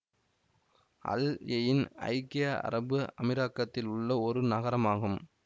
அல் Ain ஐக்கிய அரபு அமீரகத்தில் உள்ள ஒரு நகரமாகும்